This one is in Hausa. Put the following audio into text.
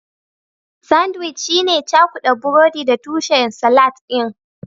Sandwic shine cakuda burodi da tushen salatin